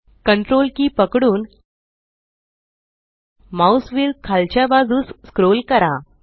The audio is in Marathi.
Ctrl की पकडून माउस व्हील खालच्या बाजूस स्क्रोल करा